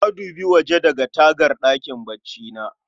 Na dubi waje daga tagar ɗakin baccina